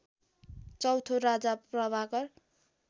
चौथो राजा प्रभाकर